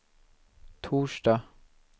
torsdag